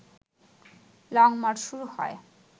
long march শুরু হয়